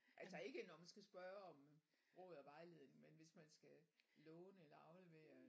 Atlså ikke når man skal spørge om råd og vejledning men hvis man skal låne eller aflevere